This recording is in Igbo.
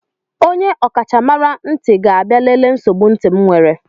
Onye ọkachamara ntị ga-abịa lelee nsogbu ntị m were.